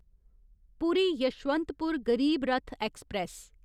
पूरी यशवंतपुर गरीब रथ ऐक्सप्रैस